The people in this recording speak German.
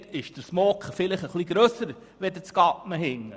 Denn dort ist der Smog vielleicht grösser als in Gadmen.